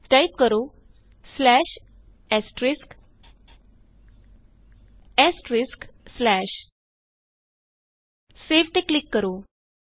type ਕਰੋ save Saਤੇ click ਕਰੋ